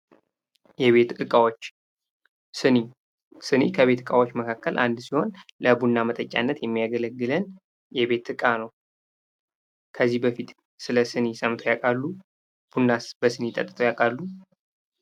የቤት እቃዎች፤ ስኒ፦ ስኒ ከቤት እቃዎች መካከል አንዱ ሲሆን ለቡና መጠጫነት የሚያገለግለን የቤት እቃ ነው። ከዚህ በፊት ስለ ስኒ ሰምተው ያውቃሉ? እናስ በስኒ ጠጥተው ያውቃሉ?